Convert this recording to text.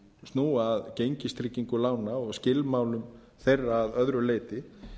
snúa að gengistrygging lána og skilmálum að öðru leyti